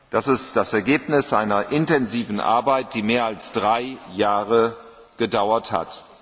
Das ist das Ergebnis einer intensiven Arbeit, die mehr als drei Jahre gedauert hat.